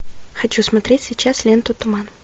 хочу смотреть сейчас ленту туман